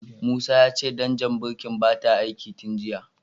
Musa ya ce danjar birkin bata aiki tin jiya.